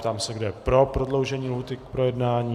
Ptám se, kdo je pro prodloužení lhůty k projednání.